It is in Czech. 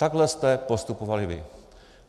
Takhle jste postupovali vy.